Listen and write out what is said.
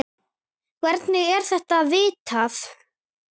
Hvernig er þetta vitað?